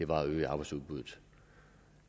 var at øge arbejdsudbuddet